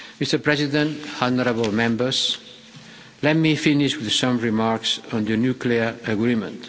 Mr President, honourable members, let me finish with some remarks on the nuclear agreement.